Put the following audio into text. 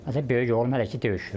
Hətta böyük oğlum hələ ki döyüşürdü.